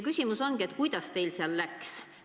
Küsimus ongi, kuidas teil seal läks.